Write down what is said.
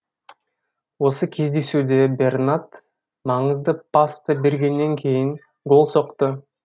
осы кездесуде бернат маңызды пасты бергеннен кейін гол соқты